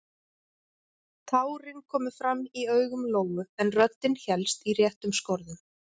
Tárin komu fram í augu Lóu en röddin hélst í réttum skorðum.